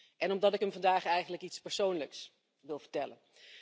en omdat ik hem vandaag eigenlijk iets persoonlijks wil vertellen.